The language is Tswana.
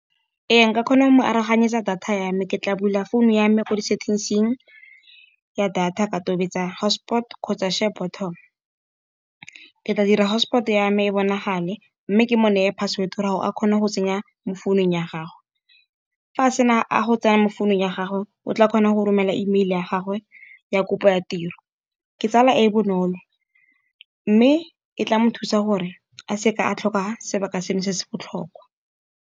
Ee nka kgona go mo aroganyetsa data ya me ke tla bula phone ya me kwa di-settings-ing, ya data ka tobetsa hotspot kgotsa share button. Ke tla dira hotspot yame e bonagale, mme ke mo naya password, gore a kgone go tsenya mo founung ya gagwe. Fa a sena a go tsena mo founung ya gagwe o tla kgona go romela email ya gagwe ya kopo ya tiro. Ke tsela e e bonolo, mme e tla mo thusa gore a seka a tlhoka sebaka seno se se botlhokwa.